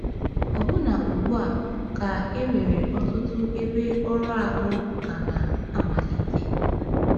Ọbụna ugbu a, ka e nwere ọtụtụ ebe ọrụ ahụ ka na-amalite.